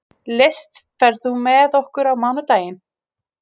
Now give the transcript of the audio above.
List, ferð þú með okkur á mánudaginn?